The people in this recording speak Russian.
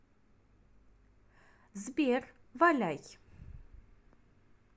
сбер валяй